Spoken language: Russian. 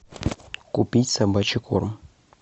купить собачий корм